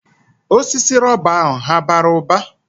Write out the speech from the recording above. Osisi rọba ahụ hà bara ụba?